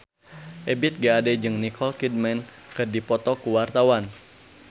Ebith G. Ade jeung Nicole Kidman keur dipoto ku wartawan